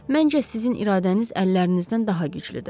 Məncə sizin iradəniz əllərinizdən daha güclüdür.